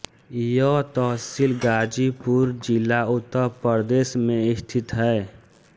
यह तहसील गाजीपुर जिला उत्तर प्रदेश में स्थित है